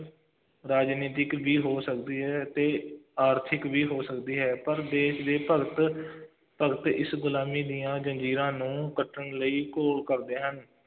ਰਾਜਨੀਤਿਕ ਵੀ ਹੋ ਸਕਦੀ ਹੈ ਅਤੇ ਆਰਥਿਕ ਵੀ ਹੋ ਸਕਦੀ ਹੈ, ਪਰ ਦੇਸ਼ ਦੇ ਭਗਤ ਭਗਤ ਇਸ ਗੁਲਾਮੀ ਦੀਆਂ ਜ਼ੰਜ਼ੀਰਾਂ ਨੂੰ ਕੱਟਣ ਲਈ ਘੋਲ ਕਰਦੇ ਹਨ,